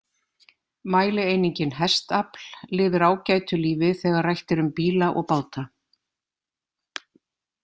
Mælieiningin hestafl lifir ágætu lífi þegar rætt er um bíla og báta.